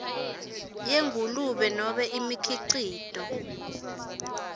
yengulube nobe imikhicito